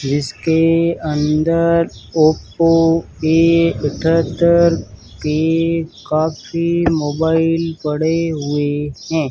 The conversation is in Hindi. जिसके अंदर ओप्पो ए इकहत्तर के काफी मोबाइल पड़े हुए हैं।